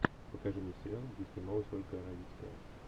покажи мне сериал где снималась ольга равицкая